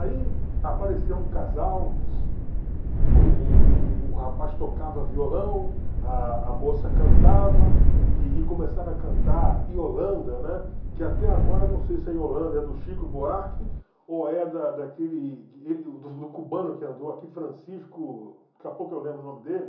Aí apareceu um casal, o o o o o rapaz tocava violão, a a moça cantava e e começaram a cantar Iolanda, né, que até agora não sei se é Iolanda, é do Chico Buarque ou é da daquele do cubano que andou aqui, Francisco, daqui a pouco eu lembro o nome dele.